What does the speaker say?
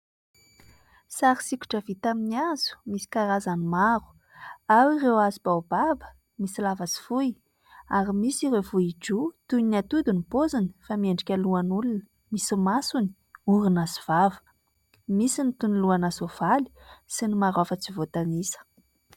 Sary sikotra vita amin'ny hazo, misy karazany maro : ao ireo hazo baobaba , misy lava sy fohy ary misy ireo vohijoa toy ny atody ny paoziny fa miendrika lohan'olona misy masony, orona sy vava. Misy ny toy ny lohana sovaly sy ny maro hafa tsy voatanisa.